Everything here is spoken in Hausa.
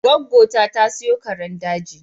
Gwaggo ta, ta siyo karen daji